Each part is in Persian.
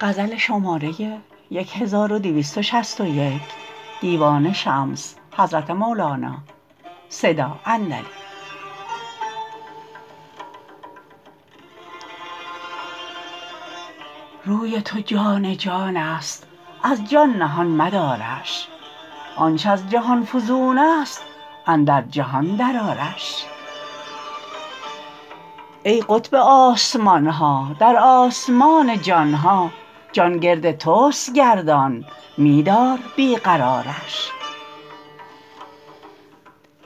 روی تو جان جانست از جان نهان مدارش آنچ از جهان فزونست اندر جهان درآرش ای قطب آسمان ها در آسمان جان ها جان گرد توست گردان می دار بی قرارش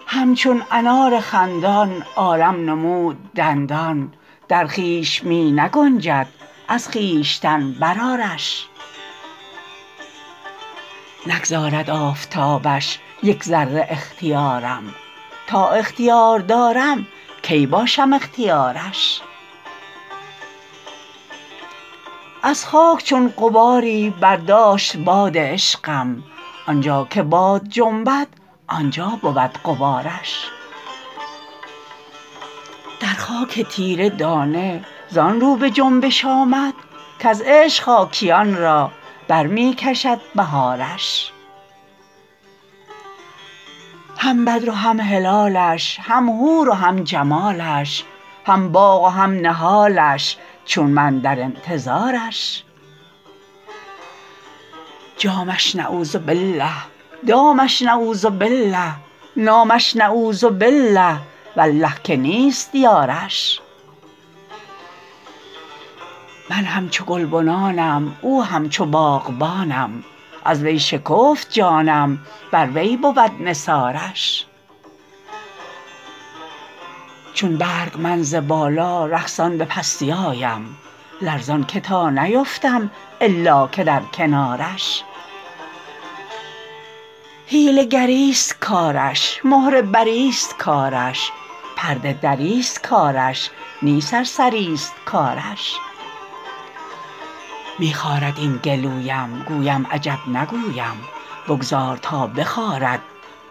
همچون انار خندان عالم نمود دندان در خویش می نگنجد از خویشتن برآرش نگذارد آفتابش یک ذره اختیارم تا اختیار دارم کی باشم اختیارش از خاک چون غباری برداشت باد عشقم آن جا که باد جنبد آن جا بود غبارش در خاک تیره دانه زان رو به جنبش آمد کز عشق خاکیان را بر می کشد بهارش هم بدر و هم هلالش هم حور و هم جمالش هم باغ و هم نهالش چون من در انتظارش جامش نعوذبالله دامش نعوذبالله نامش نعوذبالله والله که نیست یارش من همچو گلبنانم او همچو باغبانم از وی شکفت جانم بر وی بود نثارش چون برگ من ز بالا رقصان به پستی آیم لرزان که تا نیفتم الا که در کنارش حیله گریست کارش مهره بریست کارش پرده دریست کارش نی سرسریست کارش می خارد این گلویم گویم عجب نگویم بگذار تا بخارد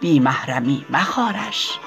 بی محرمی مخارش